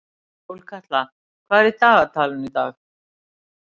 Sólkatla, hvað er í dagatalinu í dag?